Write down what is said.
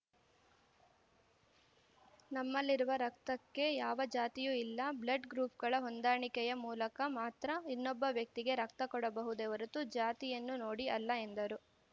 ನಮ್ಮಲ್ಲಿರುವ ರಕ್ತಕ್ಕೆ ಯಾವ ಜಾತಿಯೂ ಇಲ್ಲ ಬ್ಲಡ್‌ ಗ್ರೂಪ್‌ಗಳ ಹೊಂದಾಣಿಕೆಯ ಮೂಲಕ ಮಾತ್ರ ಇನ್ನೊಬ್ಬ ವ್ಯಕ್ತಿಗೆ ರಕ್ತ ಕೊಡಬಹುದೇ ಹೊರತು ಜಾತಿಯನ್ನು ನೋಡಿ ಅಲ್ಲ ಎಂದರು